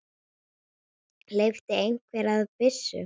Hleypti einhver af byssu?